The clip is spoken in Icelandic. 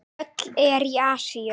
Öll eru í Asíu.